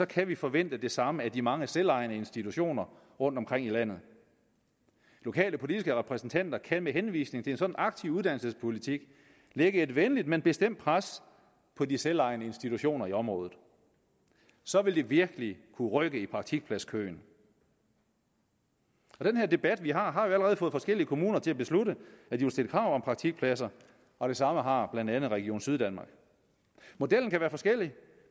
kan vi forvente det samme af de mange selvejende institutioner rundtomkring i landet lokale politiske repræsentanter kan med henvisning til en sådan aktiv uddannelsespolitik lægge et venligt men bestemt pres på de selvejende institutioner i området så vil det virkelig kunne rykke i praktikpladskøen den her debat vi har har jo allerede fået forskellige kommuner til at beslutte at de vil stille krav om praktikpladser og det samme har blandt andet region syddanmark modellen kan være forskellig